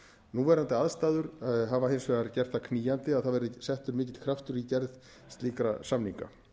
núverandi aðstæður hafa hins vegar gert það knýjandi að það verði settur mikill kraftur í gerð slíkra samninga